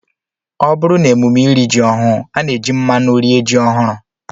Ọ bụrụ n'emume iri ji ọhụụ, a na-eji mmanụ rie ji ọhụrụ